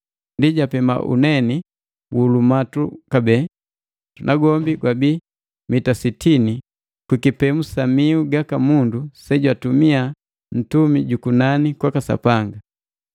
Ndi japema uneni wu lumatu kabee, na gwombi wabii mita sitini kwi kipemu sa miu gaka mundu se jwatumia Ntumi jukunani kwaka Sapanga.